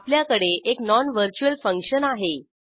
आपल्याकडे एक non virtual function आहे